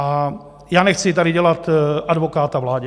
A já nechci tady dělat advokáta vládě.